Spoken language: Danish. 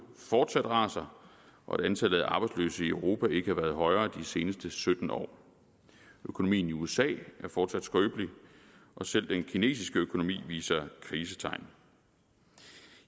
fortsat raser og antallet af arbejdsløse i europa har ikke været højere de seneste sytten år økonomien i usa er fortsat skrøbelig og selv den kinesiske økonomi viser krisetegn